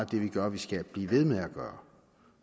det vi gør vi skal blive ved med at gøre